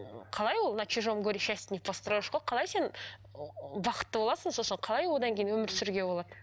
қалай ол на чужом горе счастье не построешь қой қалай сен бақытты боласың сосын қалай одан кейін өмір сүруге болады